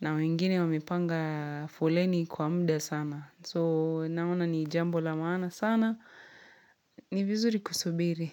na wengine wamepanga foleni kwa mda sana. So naona ni jambo la maana sana, ni vizuri kusubiri.